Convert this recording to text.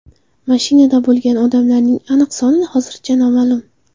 Mashinada bo‘lgan odamlarning aniq soni hozircha noma’lum.